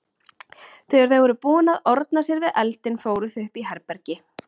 Þegar þau voru búin að orna sér við eldinn fóru þau upp í herbergi.